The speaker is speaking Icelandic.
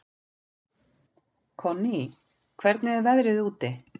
Konný, hvernig er veðrið úti?